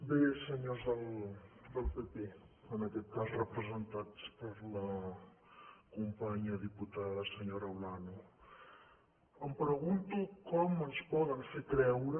bé senyors del pp en aquest cas representats per la companya diputada senyora olano em pregunto com ens poden fer creure